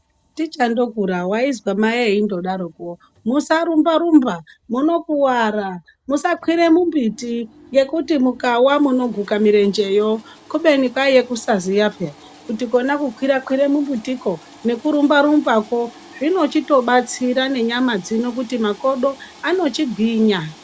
Tichandokura waizwa mai endodaroko, musarumba-rumba munokuvara, musakwire mumbiti ngekuti mukawa munoguka murenjeyo. Kubeni kwaiye kusaziya peya kuti kona kukwira-kwire mumbitiko nekurumba-rumbako zvinochitobatsira nenyama dzino kuti makodo anochigwinya.